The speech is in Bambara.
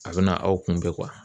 A bɛ na aw kunbɛn